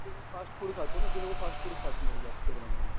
Fast food खातो ना ते लोकं फास्ट फूड खात नाही जास्त प्रमाणामध्ये.